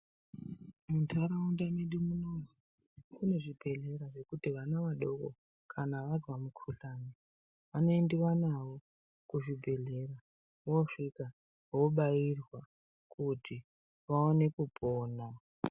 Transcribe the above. Muntaraunda medu munomu kune zvibhedhlera zvekuti vana doko kana vazwa mukuhlani vanoendiva navo kuzvibhedhlera. Vosvika vobairwa kuti vaone kupona.